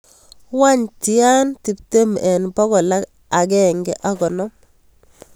Wany tian tiptem en bokol agenge ak konom